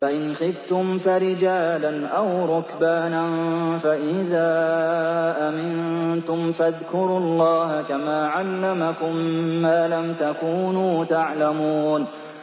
فَإِنْ خِفْتُمْ فَرِجَالًا أَوْ رُكْبَانًا ۖ فَإِذَا أَمِنتُمْ فَاذْكُرُوا اللَّهَ كَمَا عَلَّمَكُم مَّا لَمْ تَكُونُوا تَعْلَمُونَ